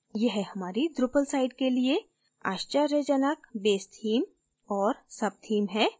यह हमारी drupal site के लिए आश्चर्यजनक base theme और subtheme है